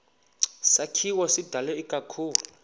sakhiwo sidalwe ikakhulu